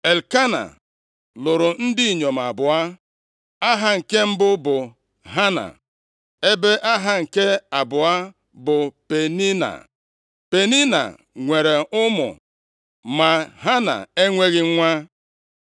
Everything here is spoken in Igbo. Elkena lụrụ ndị inyom abụọ, aha nke mbụ bụ Hana, ebe aha nke abụọ bụ Penina. Penina nwere ụmụ, ma Hana enweghị nwa.